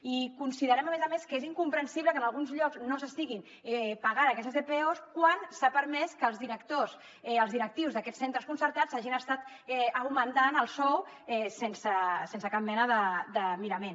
i considerem a més a més que és incomprensible que en alguns llocs no s’estiguin pagant aquestes dpos quan s’ha permès que els directius d’aquests centres concertats s’hagin estat augmentant el sou sense cap mena de mirament